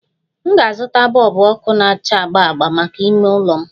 M ga-azụta bọlbụ ọkụ na-acha agba agba maka ime ụlọ m